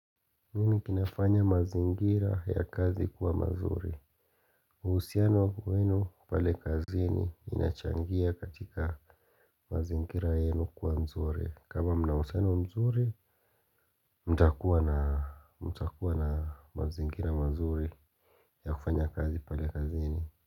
Nini kinafanya mazingira ya kazi kuwa mazuri uhusiano wa kwenu pale kazini inachangia katika mazingira yenu kuwa mzuri kama mna uhusiano mzuri mtakuwa na mazingira mazuri ya kufanya kazi pale kazini.